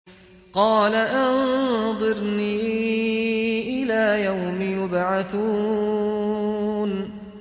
قَالَ أَنظِرْنِي إِلَىٰ يَوْمِ يُبْعَثُونَ